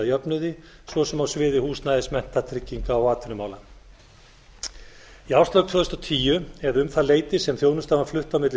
jöfnuði svo sem á sviði húsnæðis mennta trygginga og atvinnumála í árslok tvö þúsund og tíu eða um það leyti sem þjónustan var flutt á milli